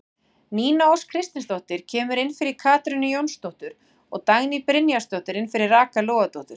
Nína Ósk Kristinsdóttir kemur inn fyrir Katrínu Jónsdóttur og Dagný Brynjarsdóttir inn fyrir Rakel Logadóttur.